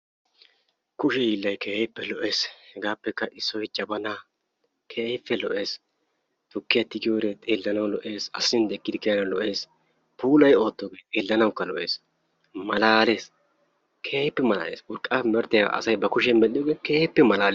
Kushe hiillay keehippe lo'ees. Hegaapeka issoy Jabaana, keehippe lo'ees; tukkiya tigiyode xeelanawu lo'ees; asaa sintti ekkidi kiyanawu lo'ees; puulayi ottoge xeelanawuka lo'es; malaalees; keehippe malaalees. Urqqape merettiyaba asay ba kushiyan medhdhiyoge keehippe malaalees.